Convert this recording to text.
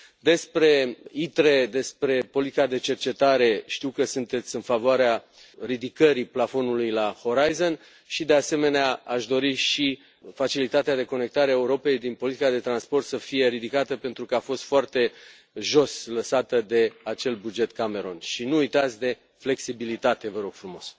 Despre ITRE, despre politica de cercetare, știu că sunteți în favoarea ridicării plafonului Horizon și, de asemenea, aș dori și facilitatea de conectare a Europei din politica de transport să fie ridicată, pentru că a fost foarte jos lăsată de acel buget Cameron și nu uitați de flexibilitate, vă rog frumos.